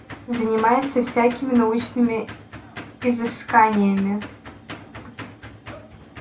занимается всякими научными изысканиями